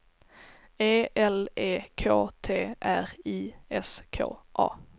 E L E K T R I S K A